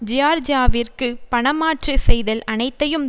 ஜியார்ஜியாவிற்கு பணமாற்று செய்தல் அனைத்தையும்